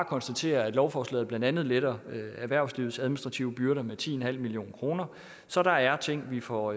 konstatere at lovforslaget blandt andet letter erhvervslivets administrative byrder med ti million kroner så der er ting vi får